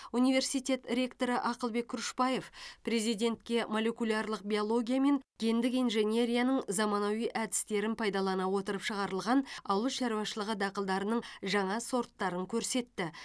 университет ректоры ақылбек күрішбаев президентке молекулярлық биология мен гендік инженерияның заманауи әдістерін пайдалана отырып шығарылған ауыл шаруашылығы дақылдарының жаңа сорттарын көрсетті